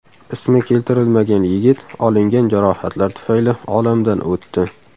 Ismi keltirilmagan yigit olingan jarohatlar tufayli olamdan o‘tdi.